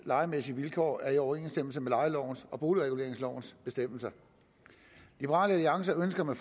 lejemæssige vilkår er i overensstemmelse med lejelovens og boligreguleringslovens bestemmelser liberal alliance ønsker med